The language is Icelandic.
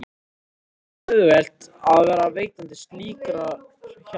Og ekki var auðvelt að vera veitandi slíkrar hjálpar.